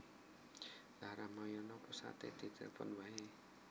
Lha Ramayana pusate ditelfon wae